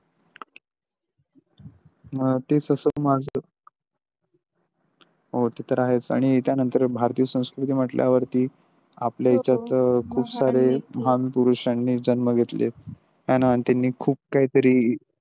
तेच असल माझ हो ते तर आहेच आणि त्यानंतर भारतीय संस्कृती म्हंटल्यावरती आपल्या याच्यात खूप सारे महापुरुषांनी जन्म घेतले हेन त्यांनी खूप काही तरी.